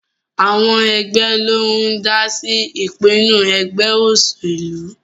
Àwọn ẹgbẹ́ ló ń dá sí ìpinnu ẹgbẹ́ òṣèlú